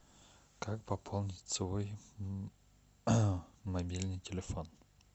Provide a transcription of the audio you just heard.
как пополнить свой мобильный телефон